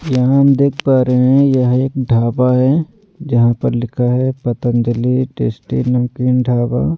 यहाँ हम देख पा रहे हैं यह एक ढाबा है जहाँ पर लिखा है पतंजलि टेस्टी नमकीन ढाबा ----